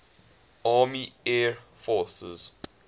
army air forces